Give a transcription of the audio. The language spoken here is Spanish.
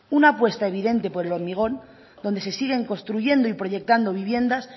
una apuesta evidente por el hormigón donde se siguen construyendo y proyectando viviendas